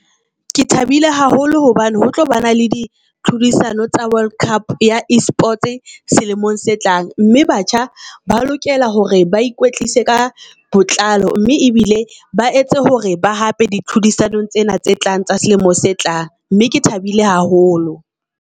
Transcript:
Ke thabile haholo hobane ho tlo ba na le di tlhodisano tsa World Cup ya e-sports selemong se tlang mme batjha ba lokela hore ba ikwetlise ka botlalo. Mme ebile ba etse hore ba hape di tlhodisanong tsena tse tlang tsa selemo se tlang, mme ke thabile haholo.